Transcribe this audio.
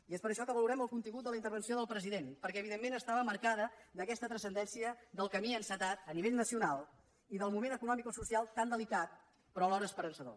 i és per això que valorem el contingut de la intervenció del president perquè evidentment estava marcada per aquesta transcendència del camí encetat a nivell nacional i del moment economicosocial tan delicat però alhora esperançador